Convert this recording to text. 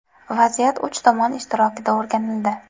Vaziyat uch tomon ishtirokida o‘rganildi.